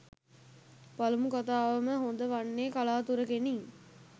පළමු කතාවම හොඳ වන්නේ කලාතුරෙකිනි.